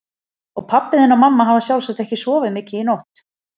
Og pabbi þinn og mamma hafa sjálfsagt ekki sofið mikið í nótt.